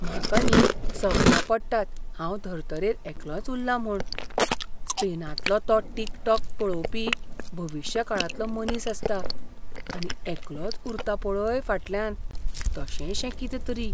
म्हाका न्ही सपनां पडटात हांव धर्तरेर एकलोंच उल्लां म्हूण. स्पेनांतलो तो टिकटॉक पळोवपी भविश्य काळांतलो मनीस आसता, आनी एकलोच उरता पळय फाटल्यान, तशेशें कितें तरी.